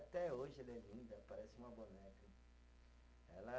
E até hoje ela é linda, parece uma boneca. Ela